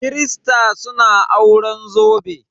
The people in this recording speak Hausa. Kirista suna auren zobe.